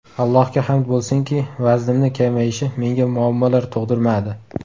Allohga hamd bo‘lsinki, vaznimni kamayishi menga muammolar tug‘dirmadi.